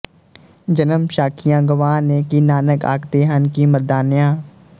ਜਨਮ ਸਾਖੀਆਂ ਗਵਾਹ ਨੇ ਕਿ ਨਾਨਕ ਆਖਦੇ ਹਨ ਕਿ ਮਰਦਾਨਿਆਂ